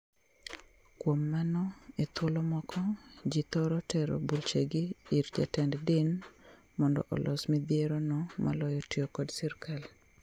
Kuom mano, e thuolo moko, jii thoro tero buchegi ir jatend din mondo los midhierono moloyo tiyo kod sirkal.